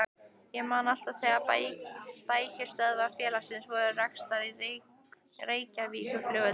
Ég man alltaf þegar bækistöðvar félagsins voru reistar á Reykjavíkurflugvelli.